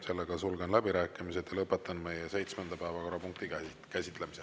Sellega sulgen läbirääkimised ja lõpetan meie seitsmenda päevakorrapunkti käsitlemise.